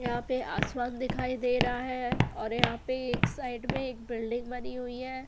यहाँ पे आसमान दिखाई दे रहा है और यहाँ पे एक साइड में बिल्डिंग बनी हुई है।